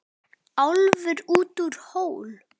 Álfur út úr hól.